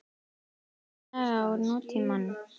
Önnur saga úr nútímanum.